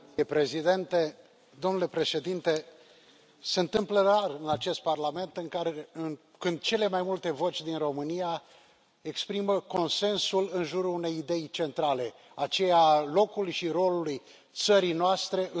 Domnule Președinte, se întâmplă rar în acest Parlament ca cele mai multe voci din România să exprime consensul în jurul unei idei centrale aceea a locului și rolului țării noastre în Uniunea Europeană.